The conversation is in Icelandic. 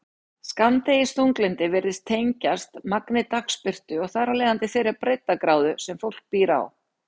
Skammdegisþunglyndi virðist tengjast magni dagsbirtu og þar af leiðandi þeirri breiddargráðu sem fólk býr á.